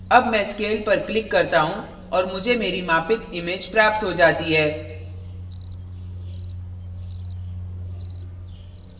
अब मैं scale पर click करता हूँ और मुझे मेरी मापित image प्राप्त हो जाती है